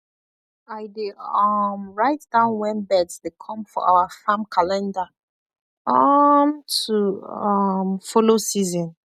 i dey um write down when birds dey come for our farm calendar um to um follow season